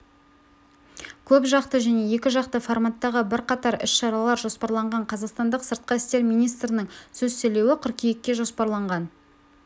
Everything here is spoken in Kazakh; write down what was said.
көпжақты және екіжақты форматтағы бірқатар іс-шаралар жоспарланған қазақстан сыртқы істер министрінің сөз сөйлеуі қыркүйекке жоспарланған